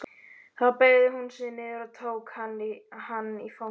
Þá beygði hún sig niður og tók hann í fangið.